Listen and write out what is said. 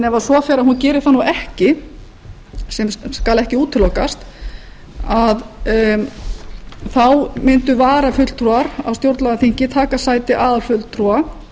ef svo fer að hún geri það ekki sem skal ekki útilokast þá mundu varafulltrúar á stjórnlagaþingi taka sæti aðalfulltrúa